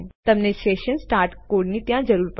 તમને session start કોડની ત્યાં જરૂર છે